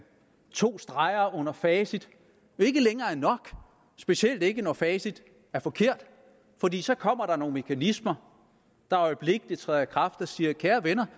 to streger under facit ikke længere er nok specielt ikke når facit er forkert fordi så kommer der nogle mekanismer der øjeblikkelig træder i kraft og siger kære venner